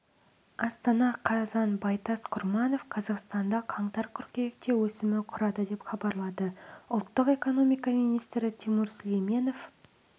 астана қазан байтас құрманов қазақстанда қаңтар-қыркүйекте өсімі құрады деп хабарлады ұлттық экономика министрі тимур сүлейменов